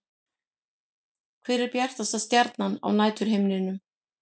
Hver er bjartasta stjarnan á næturhimninum?